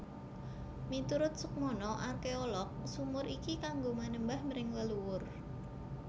Miturut Soekmono arkeolog sumur iki kanggo manembah mring leluwur